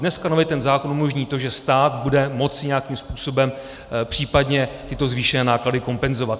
Dneska nově ten zákon umožní to, že stát bude moci nějakým způsobem případně tyto zvýšené náklady kompenzovat.